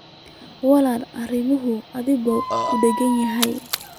Wiil, arrimuhu aad bay u adag yihiin